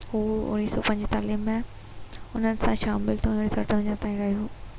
هو 1945 ۾ انهن سان شامل ٿيو ۽ 1958 تائين رهيو